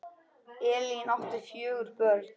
Elín átti fjögur börn.